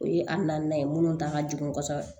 O ye an na ye minnu ta ka jigin kosɛbɛ